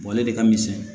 ale de ka misɛn